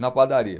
Na padaria.